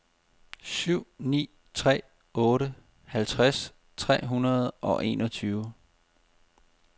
syv ni tre otte halvtreds tre hundrede og enogtyve